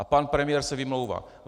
A pan premiér se vymlouvá.